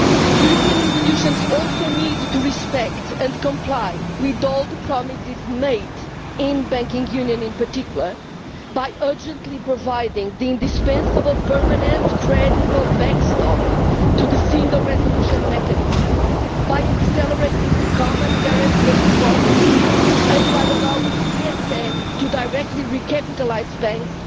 European institutions also need to respect and comply with all the promises made, on the banking union in particular, by urgently providing an indispensable permanent credible backstop to the single resolution mechanism, by accelerating the common guarantee of deposits, and by allowing the ESM to directly recapitalise banks.